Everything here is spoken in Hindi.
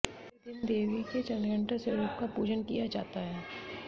तीसरे दिन देवी के चंद्रघंटा स्वरूप का पूजन किया जाता है